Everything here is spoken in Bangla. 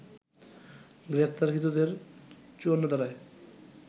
গ্রেপ্তারকৃতদের ৫৪ ধারায়